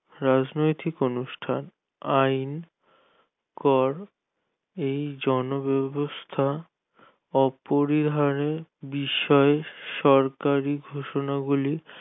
রাজনৈতিক অনুষ্ঠান আইন, কর, এই জনব্যবস্থা অপরিহারের বিষয়ে সরকারি ঘোষণাবলী